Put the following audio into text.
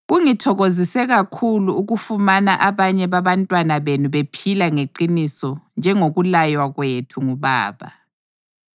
Kungithokozise kakhulu ukufumana abanye babantwana benu bephila ngeqiniso njengokulaywa kwethu nguBaba.